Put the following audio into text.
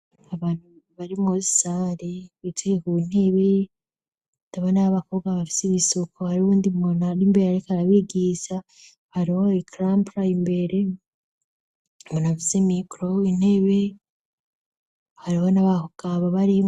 Abantu barimwosare bitugeka uwo intebe ndabo n'ab' abakobwa bafise ibisuko hari wo ndimwonu aari imbere, ariko arabigisa hariwo ikrampraye imbere ngonavuze mikro intebe hari bo nabakokabo bari.